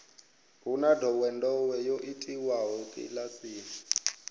hu na ndowendowe yo itiwaho kilasini